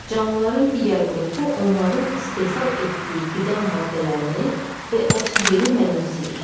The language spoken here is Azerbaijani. Canlıların digər qrupu onların istehsal etdiyi qida maddələrini və oksigeni mənimsəyir.